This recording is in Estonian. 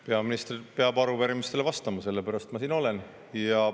Peaminister peab arupärimistele vastama, sellepärast ma siin olen.